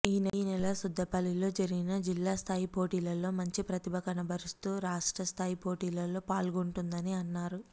ఈ నెల సుద్దపల్లిలో జరిగిన జిల్లా స్థాయి పోటీలలో మంచి ప్రతిభ కనబరుస్తూ రాష్ట్ర స్థాయి పోటీల్లో పాల్గొంటుందని అన్నారు